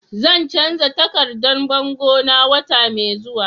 Zan canza takardan bango na wata mai zuwa.